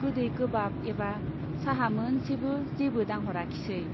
गोदै गोबाब एबा चाहा मोनसेबो जेबो दांह'राखिसै।